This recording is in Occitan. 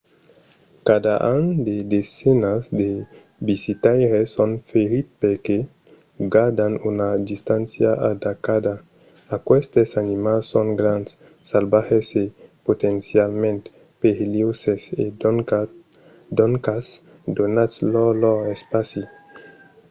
cada an de desenas de visitaires son ferits perque gardan pas una distància adeqüada. aquestes animals son grands salvatges e potencialament perilhoses e doncas donatz-lor lor espaci